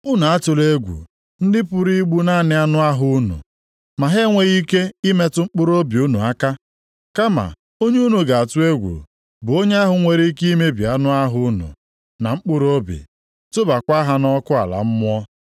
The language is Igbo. Unu atụla egwu ndị pụrụ igbu naanị anụ ahụ unu, ma ha enweghị ike ịmetụ mkpụrụobi unu aka. Kama onye unu ga-atụ egwu bụ Onye ahụ nwere ike imebi anụ ahụ unu na mkpụrụobi, tụbakwa ha nʼọkụ ala mmụọ.